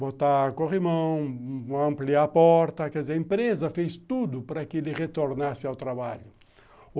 Botar corrimão, ampliar a porta, quer dizer, a empresa fez tudo para que ele retornasse ao trabalho.